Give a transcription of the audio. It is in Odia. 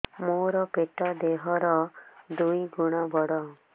ମୋର ପେଟ ଦେହ ର ଦୁଇ ଗୁଣ ବଡ